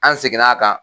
An seginn'a kan